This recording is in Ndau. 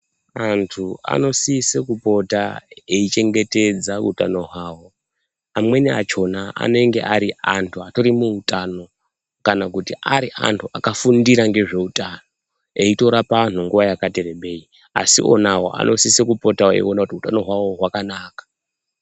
Antu anosise kupota eichengetedza utano hwavo. Amweni achona anenge ari antu atori neutano kana kuti ari antu akafundira ngezveutano. Eitorapa anhu nguva yakati rebei. Asi iwonawo anosise kupotawo eiona kuti utano hwavo hwakanaka.